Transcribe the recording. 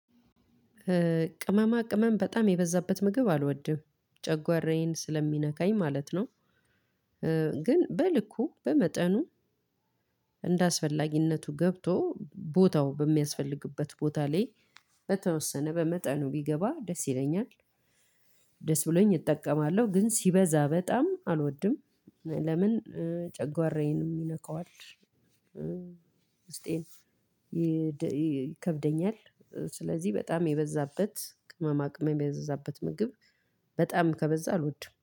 ቅመማቅመም በጣም የበዛበት ምግብ አሎድም ጨጓራየን ስለሚነካኝ ማለት ነው። ግን በልኩ በመጠኑ እንደ አስፈላጊነቱ ገብቶ ቦታው በሚያስፈልግበት ቦታ ላይ። በተወሰነ በመጠኑ ቢገባ ደስ ይለኛል። ደስ ብሎኝ እጠቀማለሁ ግን ሲበዛ በጣም አልወድም። ለምን? ጨጓራዬን የነካዋል ውስጤን ይከብደኛል። ስለዚህ በጣም የበዛበት ቅመማ ቅመም የበዛበት ምግብ። በጣም ከበዛ አልወድም